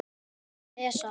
Þeir sem lesa